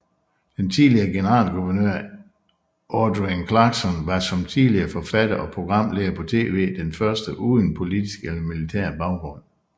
Den tidligere generalguvernør Adrienne Clarkson var som tidligere forfatter og programleder på TV den første uden politisk eller militær baggrund